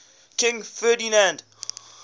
king ferdinand